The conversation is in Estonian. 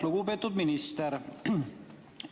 Lugupeetud minister!